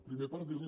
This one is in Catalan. primer per dir li